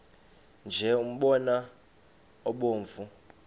nje umbona obomvu